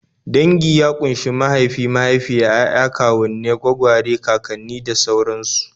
Dangi ya ƙunshi mahaifi, mahaifiya, 'ya'ya, kawunnai, gwagware, kakanni, da sauransu